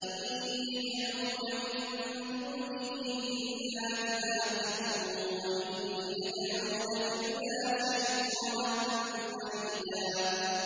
إِن يَدْعُونَ مِن دُونِهِ إِلَّا إِنَاثًا وَإِن يَدْعُونَ إِلَّا شَيْطَانًا مَّرِيدًا